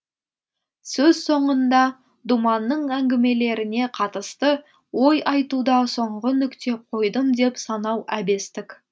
сөз соңында думанның әңгімелеріне қатысты ой айтуда соңғы нүкте қойдым деп санау әбестік